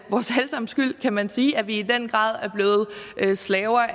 sammens skyld kan man sige at vi i den grad er blevet slaver